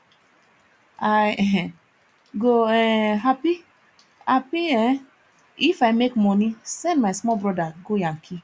i um go um hapi hapi um if i make moni send my small broda go yankee